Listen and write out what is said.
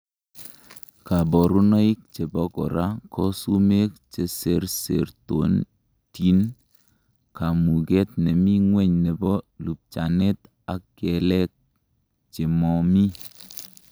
Koburoinoik chebo kora ko sumek cheserserotin, kamuket nemi ngweny nebo lupchanet ak kelek chemomi.